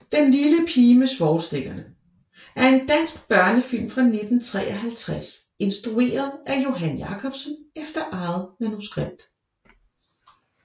Den lille pige med svovlstikkerne er en dansk børnefilm fra 1953 instrueret af Johan Jacobsen efter eget manuskript